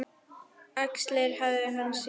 Axlir hans síga.